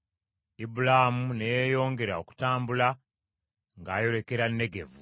Ibulaamu ne yeeyongera okutambula ng’ayolekera Negevu .